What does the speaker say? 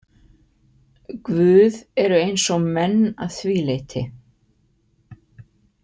Guð eru eins og menn að því leyti.